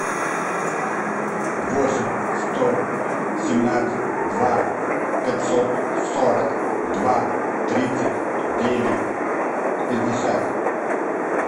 восемь сто семнадцать два пятьсот сорок два тридцать девять пятьдесят